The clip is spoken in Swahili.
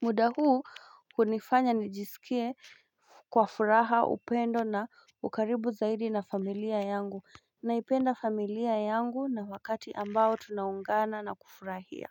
muda huu hunifanya nijisikie kwa furaha upendo na ukaribu zaidi na familia yangu Naipenda familia yangu na wakati ambao tunaungana na kufurahia.